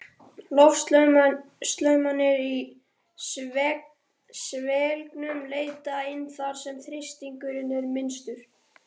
Loftstraumarnir í svelgnum leita inn þar, sem þrýstingurinn er minnstur.